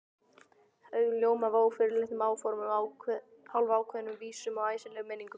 Augun ljóma af ófyrirleitnum áformum, hálfkveðnum vísum og æsilegum minningum.